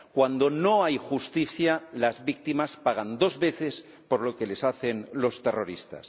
Cuando no hay justicia, las víctimas pagan dos veces por lo que les hacen los terroristas.